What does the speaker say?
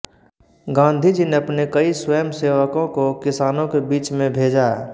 गांधीजी ने अपने कई स्वयंसेवकों को किसानों के बीच में भेजा